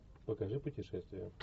покажи путешествия